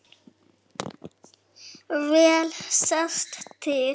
Vel sést til